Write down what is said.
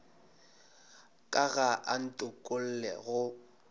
ka ga a ntokolle go